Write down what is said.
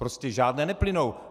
Prostě žádné neplynou.